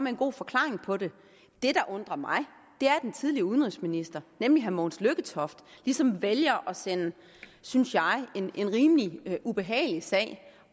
en god forklaring på det det der undrer mig er at den tidligere udenrigsminister nemlig herre mogens lykketoft ligesom vælger at sende synes jeg en rimelig ubehagelig sag